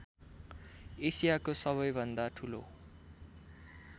एसियाको सबैभन्दा ठूलो